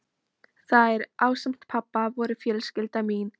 Þær, ásamt pabba, voru fjölskylda mín.